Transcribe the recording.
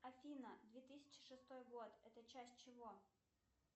афина две тысячи шестой год это часть чего